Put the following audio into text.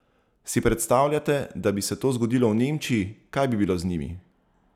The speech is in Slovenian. Si predstavljate, da bi se to zgodilo v Nemčiji, kaj bi bilo z njimi?